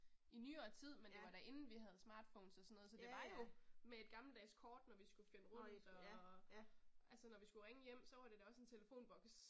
I nyere tid, men det var da inden vi havde smartphones og sådan noget, så det var jo med et gammeldags kort når vi skulle finde rundt og altså når vi skulle ringe hjem så var det da også en telefonboks